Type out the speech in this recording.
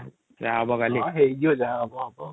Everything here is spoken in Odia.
ଯାହା ହବ କଲି ହଁ ହେଇଯିବା ଯାହା ହବ |